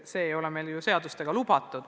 See ei ole meil ju ka seadusega lubatud.